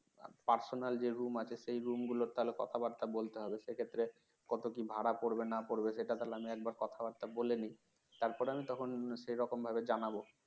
personal যে room আছে সেই room গুলোতে কথাবার্তা বলতে হবে সে ক্ষেত্রে কত কি ভাড়া পড়বে না পড়বে সেটা আমি একবার কথাবার্তা বলেনি তারপর আমি তখন সে রকম ভাবে জানাব